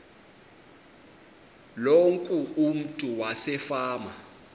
loku umntu wasefama